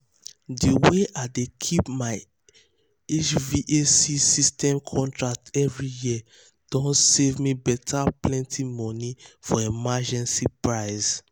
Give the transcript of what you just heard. de way i dey keep my hvac system contract every um year don save um me beta plenty um money for energy price.